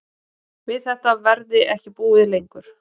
Við þetta verði ekki búið lengur